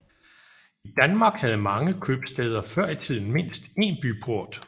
I Danmark havde mange købstæder før i tiden mindst én byport